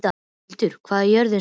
Hildir, hvað er jörðin stór?